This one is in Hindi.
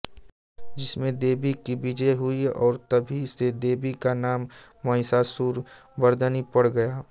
जिसमें देवी कि विजय हुई और तभी से देवी का नाम महिषासुर मर्दनी पड़ गया